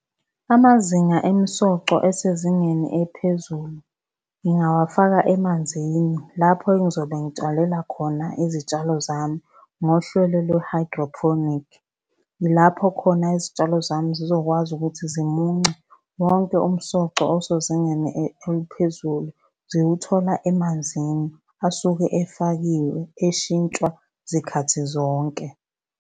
Amazinga emisoco esezingeni eliphezulu ngingawafaka emanzini lapho engizobe ngitshalela khona izitshalo zami ngohlelo lwe-hydroponic. Ilapho khona izitshalo zami zizokwazi ukuthi zimunce wonke umsoco osezingeni eliphezulu ziwuthola emanzini asuke efakiwe eshintshwa zikhathi zonke.